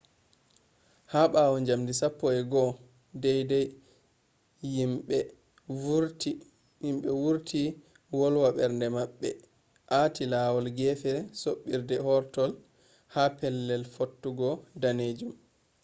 ha ɓawo njamdi 11:00 yimɓe wurti wolwa ɓernde maɓɓe aati lawol gefe soɓɓiire hortol ha pellel fottugo danejum